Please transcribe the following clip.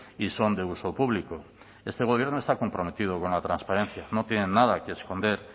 y son de uso público este gobierno está comprometido con la transparencia no tienen nada que esconder